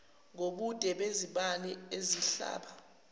ngobude bezibani ezihlaba